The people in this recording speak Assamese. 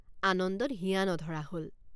আনন্দত হিয়৷ নধৰা হল।